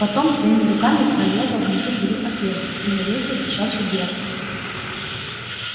потом своими руками прорезал внизу двери отверстие и навесил кошачью дверцу